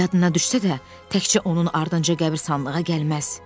Yadına düşsə də, təkcə onun ardınca qəbiristanlığa gəlməz.